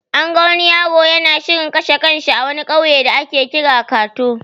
An ga wani yaro yana shirin kashe kan shi a wani ƙauye da ake kira kato.